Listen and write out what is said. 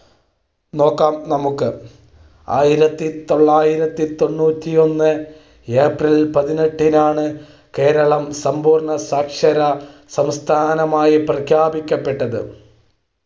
നോക്കാം നമുക്ക് ആറ്റിറത്തി തൊള്ളായിരത്തി തൊണ്ണൂറ്റി ഒന്ന് ഏപ്രിൽ പതിനെട്ടിനാണ് കേരളം സമ്പൂർണ്ണസാക്ഷര സംസ്ഥാനമായി പ്രഖ്യാപിക്കപ്പെട്ടത്.